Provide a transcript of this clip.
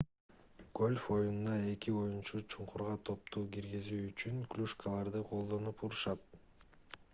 гольф оюнунда эки оюнчу чуңкурга топту киргизүү үчүн клюшкаларды колдонуп урушат